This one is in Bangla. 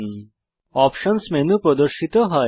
অপশনস অপশন্স মেনু প্রদর্শিত হয়